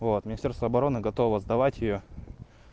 вот министерство обороны готово сдавать её